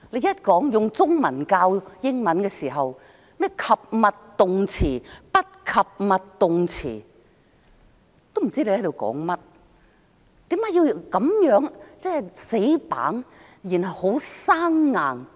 用中文教英文，說甚麼及物動詞、不及物動詞，都不知你在說甚麼，為何要這麼死板、這麼生硬？